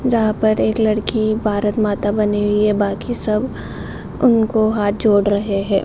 जहाँ पर एक लड़की भारत माता बनी हुई है | बाकी सब उनको हाथ जोड़ रहे है |